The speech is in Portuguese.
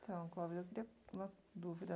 Então, Clóvis, eu queria uma dúvida.